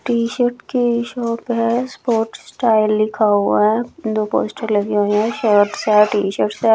T shirt की shop है sport style लिखा हुआ है दो पोस्टर लगे हुए हैं टी शर्ट्स है।